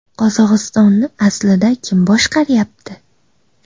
Qozog‘istonni aslida kim boshqaryapti?